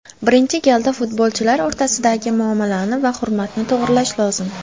Birinchi galda futbolchilar o‘rtasidagi muomalani va hurmatni to‘g‘irlash lozim.